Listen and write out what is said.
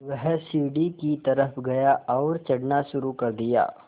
वह सीढ़ी की तरफ़ गया और चढ़ना शुरू कर दिया